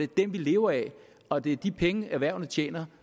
dem vi lever af og det er de penge erhvervene tjener